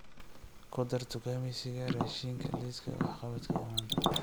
ku dar dukaamaysiga raashinka liiska wax-qabadka ee maanta